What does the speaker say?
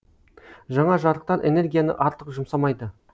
жаңа жарықтар энергияны артық жұмсамайды